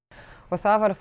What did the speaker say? það var